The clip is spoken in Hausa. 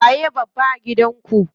Waye babba a gidan ku?